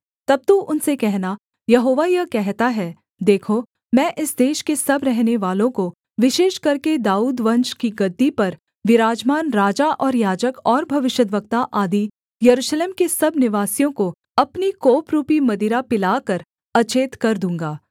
तब तू उनसे कहना यहोवा यह कहता है देखो मैं इस देश के सब रहनेवालों को विशेष करके दाऊदवंश की गद्दी पर विराजमान राजा और याजक और भविष्यद्वक्ता आदि यरूशलेम के सब निवासियों को अपनी कोपरूपी मदिरा पिलाकर अचेत कर दूँगा